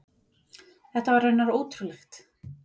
Þetta var raunar ótrúlegt.